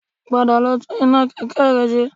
Padà lọ tún iná kẹ̀kẹ́ rẹ ṣe